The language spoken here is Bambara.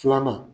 Filanan